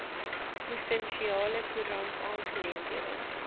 provinsiale koerant aangeleenthede